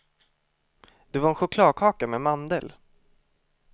Det var en chokladkaka med mandel.